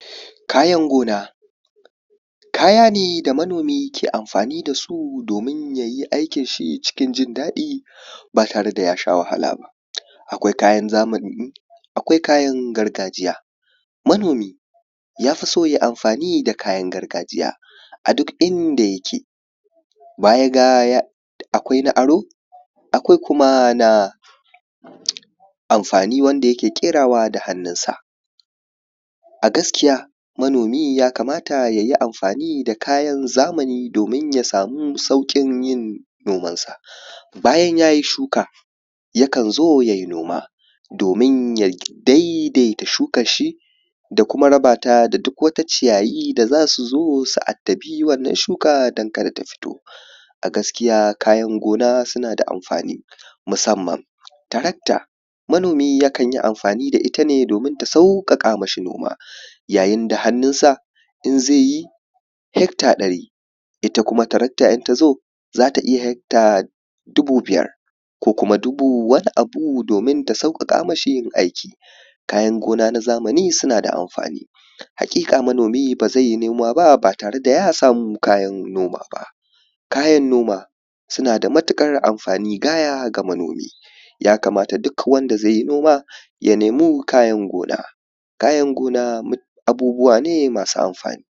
kayan gona kaya ne da manomi ke amfani dasu domin yayi aikin shi cikin jin daɗi ba tare da ya sha wahala ba akwai kayan zamani akwai kayan gargajiya manomi yafi so yayi amfani da kayan gargajiya a duk inda yake baya ga akwai na aro akwai kuma na amfani wanda yake ƙerawa da hannun sa a gaskiya manomi ya kamata yayi amfani da kayan zamani domin ya samu sauƙin yin noman sa bayan yayi shuka yakan zo yayi noma domin ya daidaita shukan shi da kuma rabata da duk wata ciyayi da zasu zo su addabi wannan shuka don kada ta fito a gaskiya kayan gona suna da amfani musamman tracktor manomi yakan yi amfani da itane domin ta sauƙaƙa mashi noma yayin da hannun sa in zaiyi hecter ɗari ita kuma tractor in tazo za ta iya hecter dubu biyar ko kuma dubu wani abu domin ta sauƙaƙa mishi yin aiki kayan gona na zamani suna da amfani haƙiƙa manomi bazai yi noma ba ba tare da ya samu kayan noma ba kayan noma suna da matuƙar amfani gaya ga manomi ya kamata duk wanda zai yi noma ya nemi kayan gona kayan gona abubuwa ne masu amfani